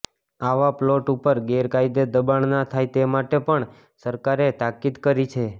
આવા પ્લોટ ઉપર ગેરકાયદે દબાણ ના થાય તે માટે પણ સરકારે તાકીદ કરી છે